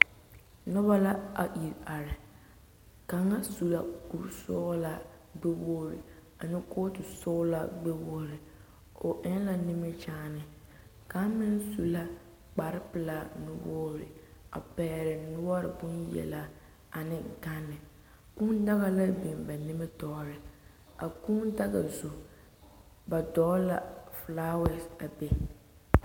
Noba la a iri are kaŋa su la kuri sɔglaa gbɛ wogre ane kootu sɔglaa gbɛ wogre o eŋ la nimikyaane kaŋ meŋ su la kpare pelaa nu wogre a pegle noɔre bonyelelaa ane gane kūū daga la biŋ ba nimitɔɔre a kūū daga zu ba dogle la filaawa a be.